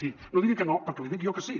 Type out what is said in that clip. sí no digui que no perquè li dic jo que sí